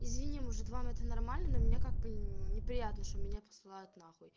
извини может вам это нормально но меня как бы неприятно что меня посылают на хуй